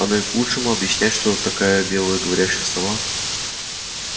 оно и к лучшему объяснять кто такая белая говорящая сова